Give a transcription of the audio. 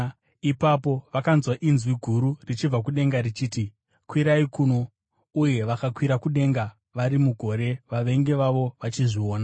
Ipapo vakanzwa inzwi guru richibva kudenga richiti, “Kwirai kuno.” Uye vakakwira kudenga vari mugore, vavengi vavo vachizviona.